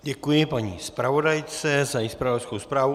Děkuji paní zpravodajce za její zpravodajskou zprávu.